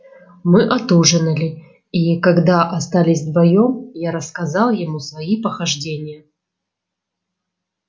мы отужинали и когда остались вдвоём я рассказал ему свои похождения